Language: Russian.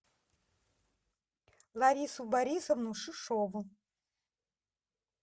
ларису борисовну шишову